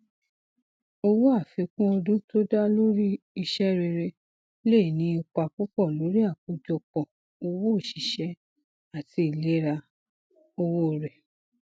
owó àfikún ọdún tó da lórí iṣẹ rere lè ní ipa púpọ lórí àkójọpọ owó oṣiṣẹ àti ìlera owó rẹ